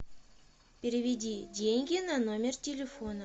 переведи деньги на номер телефона